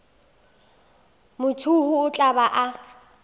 mathuhu o tla ba a